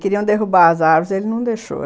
Queriam derrubar as árvores, ele não deixou.